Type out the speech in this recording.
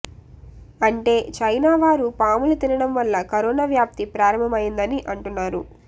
అంటే చైనా వారు పాములు తినడం వల్ల కరోనా వ్యాపి ప్రారంభం అయ్యిందని అంటున్నారు